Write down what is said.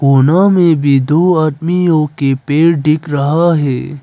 में भी दो आदमियों के पैर दिख रहा है।